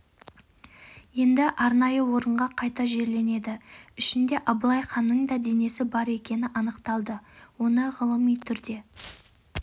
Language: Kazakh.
енді арнайы орынға қайта жерленеді ішінде абылай ханның да денесі бар екені анықталды оны ғылыми түрде